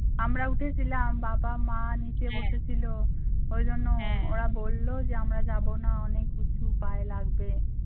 আমরা উঠেছিলাম বাবা মা নিচে বসে ছিল ওই জন্য ওরা বললো যে আমরা যাব না অনেক কিছু পায় লাগবে।